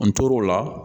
N tor'o la